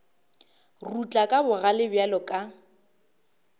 rutla ka bogale bjalo ka